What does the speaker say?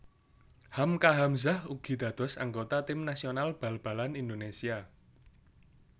Hamka Hamzah ugi dados anggota tim nasional bal balan Indonésia